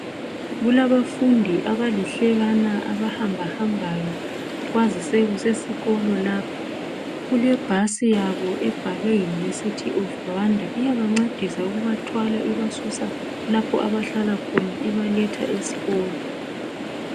Kulabafundi abalihlekana abahambahambayo kwazise kusesikolo lapha. Kulebhasi yabo ebhalwe university of Rwanda iyabancedisa ukubathwala ibasusa lapho abahlala khona ibaletha esikolo.